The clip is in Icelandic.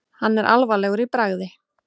Hann er alvarlegur í bragði.